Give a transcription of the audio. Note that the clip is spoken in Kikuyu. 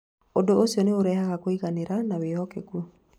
Ũndũ ũcio nĩ ũrehaga kũiganira na wĩhokeku.